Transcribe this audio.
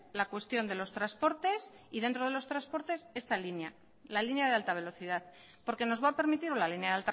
la cuestión de los transportes y dentro de los transportes esta línea la línea de alta velocidad porque nos va a permitir la línea